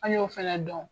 An y'o fɛnɛ dɔn